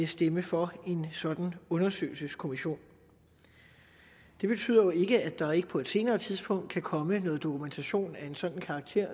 stemme for en sådan undersøgelseskommission det betyder jo ikke at der ikke på et senere tidspunkt kan komme noget dokumentation af en sådan karakter